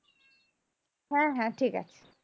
হ্যাঁ হ্যাঁ ঠিক আছে